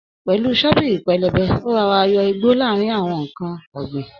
pẹlú Shọ́bìrì pẹlẹbẹ, ó rọọra yọ igbó lára ǹkan ọ̀gbìn.